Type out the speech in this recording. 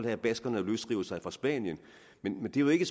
at baskerne løsriver sig fra spanien men det er jo ikke